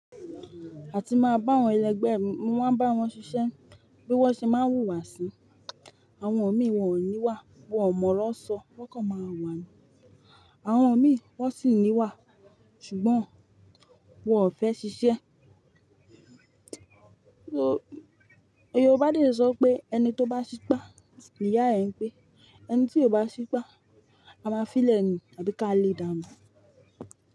A ti máa bá wọn ẹlẹgbẹ́, mo máa ń bá wọn ṣiṣẹ́ bí wọ́n ṣe máa wùwá sí. Àwọn mí wọn ò ní wà, wọ́n mọ̀ ọro sọ, wọ́n kàn máa wà ní. Àwọn ọ̀mí wọ́n sì ní wà, ṣùgbọ́n wọ́n ò fẹ́ ṣiṣẹ́. Yorùbá dè sọ pé ẹni tó bá ṣipá, ìyá ẹ ń gbé, ẹni tí ò bá ṣipá, a máa fi lẹ́ni tàbí ká lè dánu.